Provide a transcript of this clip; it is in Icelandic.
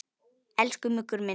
Elsku Muggur minn.